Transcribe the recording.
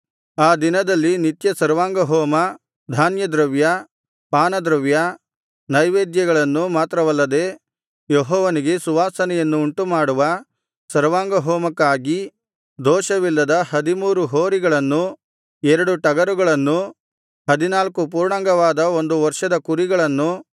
ಆ ದಿನದಲ್ಲಿ ನಿತ್ಯ ಸರ್ವಾಂಗಹೋಮ ಧಾನ್ಯದ್ರವ್ಯ ಪಾನದ್ರವ್ಯ ನೈವೇದ್ಯಗಳನ್ನೂ ಮಾತ್ರವಲ್ಲದೆ ಯೆಹೋವನಿಗೆ ಸುವಾಸನೆಯನ್ನು ಉಂಟುಮಾಡುವ ಸರ್ವಾಂಗಹೋಮಕ್ಕಾಗಿ ದೋಷವಿಲ್ಲದ ಹದಿಮೂರು ಹೋರಿಗಳನ್ನೂ ಎರಡು ಟಗರುಗಳನ್ನೂ ಹದಿನಾಲ್ಕು ಪೂರ್ಣಾಂಗವಾದ ಒಂದು ವರ್ಷದ ಕುರಿಗಳನ್ನೂ